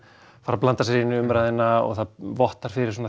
fara að blanda sér inn í umræðuna og það vottar fyrir svona